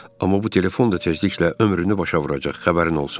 Amma bu telefon da tezliklə ömrünü başa vuracaq, xəbərin olsun.